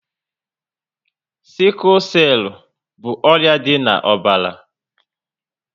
Siku selu bụ ọrịa dị na ọbara